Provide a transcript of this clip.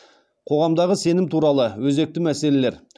қоғамдағы сенім туралы өзекті мәселелер